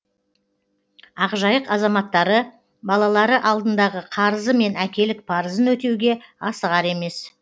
ақжайық азаматтары балалары алдындағы қарызы мен әкелік парызын өтеуге асығар емес